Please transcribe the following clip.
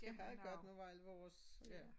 Det meget godt nu hvor alle vores ja